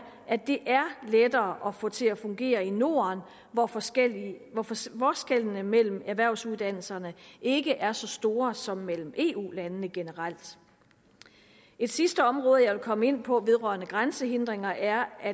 at det er lettere at få til at fungere i norden hvor forskellene mellem erhvervsuddannelserne ikke er så store som mellem eu landene generelt et sidste område jeg vil komme ind på vedrørende grænsehindringer er